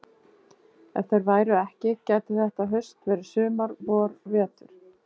Ef þeir væru ekki gæti þetta haust verið sumar vor vetur.